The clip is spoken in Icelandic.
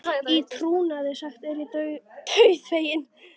Í trúnaði sagt er ég dauðfeginn.